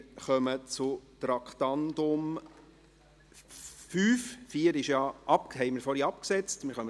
Wir kommen zum Traktandum 5, nachdem wir das Traktandum 4 vorhin abgesetzt haben.